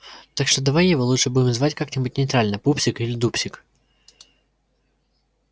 так что давай его лучше будем звать как-нибудь нейтрально пупсик или дупсик